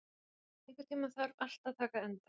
Erling, einhvern tímann þarf allt að taka enda.